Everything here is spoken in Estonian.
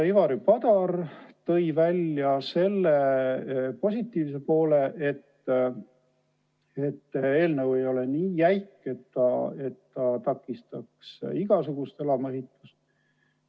Ivari Padar tõi välja selle positiivse poole, et eelnõu ei ole nii jäik, et takistaks igasugust elamuehitust.